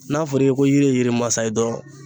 N'a fɔra i ye ko yiri masa ye dɔrɔn.